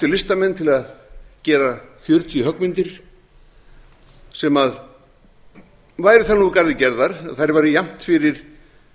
listamenn til að gera fjörutíu höggmyndir sem væru þannig úr garði gerðar að þær væru jafnt fyrir